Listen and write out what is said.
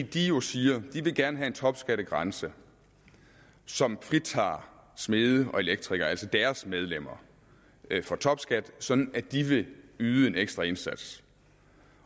de siger at de gerne vil have en topskattegrænse som fritager smede og elektrikere altså deres medlemmer for topskat sådan at de vil yde en ekstra indsats